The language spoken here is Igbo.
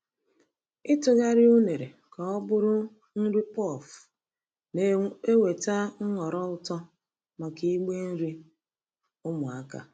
Ịtụgharị unere ka ọ bụrụ nri puff na-eweta nhọrọ ụtọ maka igbe nri ụmụaka.